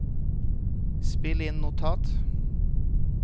spill inn notat